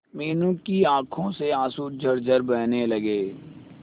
मीनू की आंखों से आंसू झरझर बहने लगे